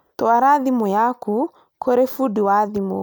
Twara thimũ yaku kũrĩ fũdi wa thimũ